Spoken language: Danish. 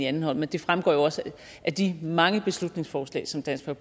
anden hånd men det fremgår jo også af de mange beslutningsforslag som dansk